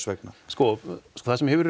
vegna sko það sem hefur